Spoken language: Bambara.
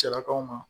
Salakaw ma